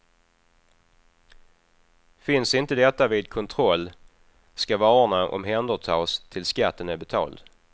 Finns inte detta vid kontroll, skall varorna omhändertas tills skatten är betald.